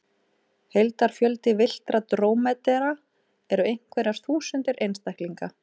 Heildarfjöldi villtra drómedara eru einhverjar þúsundir einstaklinga.